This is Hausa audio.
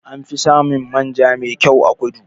Anfi samun manja me kyau a kudu.